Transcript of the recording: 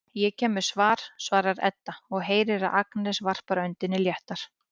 Ég kem með, svarar Edda og heyrir að Agnes varpar öndinni léttar.